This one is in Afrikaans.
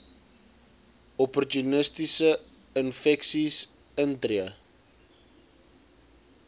opportunistiese infeksies intree